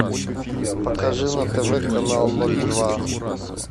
покажи на тв канал ноль два